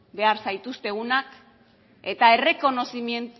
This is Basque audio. behar zaituztegunak eta